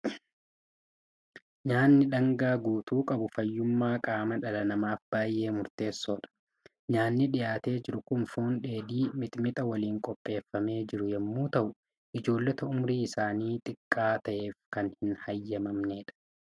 Nyaatni dhaangaa guutuu qabu fayyummaa qaama dhala namaaf baay'ee murteessoodha. Nyaatni dhiyaatee jiru kun foon dheedhii mimmixa waliin qopheeffamee jiru yommuu ta'u, ijoollota umuriin isaanii xiqqaa ta'eef kan hin eeyyamamnedha.